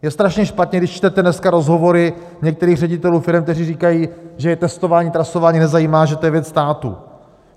Je strašně špatně, když čtete dneska rozhovory některých ředitelů firem, kteří říkají, že je testování, trasování nezajímá, že to je věc státu.